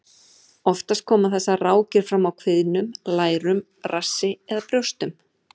Oftast koma þessar rákir fram á kviðnum, lærum, rassi eða brjóstum.